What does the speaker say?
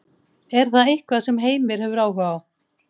Er það eitthvað sem Heimir hefur áhuga á?